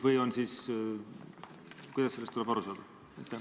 Või kuidas sellest tuleb aru saada?